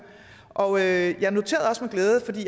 og jeg jeg noterede også med glæde